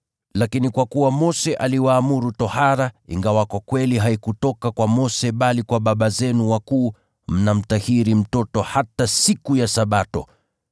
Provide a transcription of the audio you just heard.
Lakini kwa kuwa Mose aliwaamuru tohara (ingawa kwa kweli haikutoka kwa Mose bali kwa baba zenu wakuu), mnamtahiri mtoto hata siku ya Sabato.